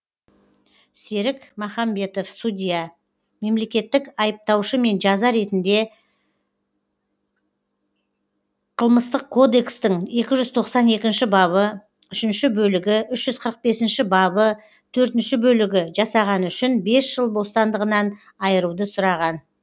серік махамбетов судья мемлекеттік айыптаушымен жаза ретінде қк тің екі жүз тоқсан екінші бабы үшінші бөлігі үш жүз қырық бесінші бабы төртінші бөлігі жасағаны үшінбес жыл бас бостандығынан айыруды сұраған